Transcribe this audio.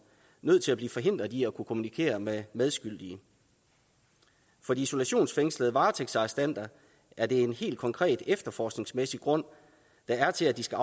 nødt til at blive forhindret i at kunne kommunikere med medskyldige for de isolationsfængslede varetægtsarrestanter er det en helt konkret efterforskningsmæssig grund der er til at de skal